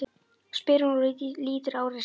spyr hún og lítur á úrið sitt.